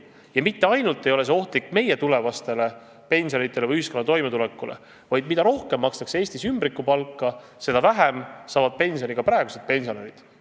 Ja see ei ohusta mitte ainult meie inimeste tulevasi pensione ja üldse ühiskonna toimetulekut, vaid mida rohkem makstakse Eestis ümbrikupalka, seda vähem saavad pensioni ka praegused pensionärid.